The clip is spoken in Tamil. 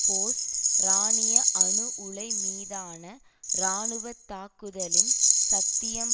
போஸ்ட் ஈரானிய அணு உலை மீதான இராணுவ தாக்குதலின் சாத்தியம்